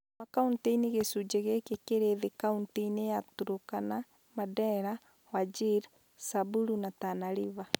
Makauntĩ-inĩ gĩcunjĩ gĩkĩ kĩrĩ thĩ kauntĩ inĩ ya Turkana, Mandera, Wajir, Samburu na Tana River